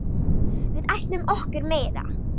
Við ætlum okkur meira.